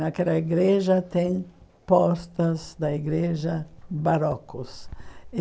Naquela igreja, tem portas da igreja barrocos.